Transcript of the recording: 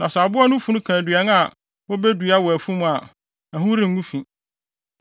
Na sɛ aboa no funu ka aduan a wobedua wɔ afum a, ɛho rengu fi,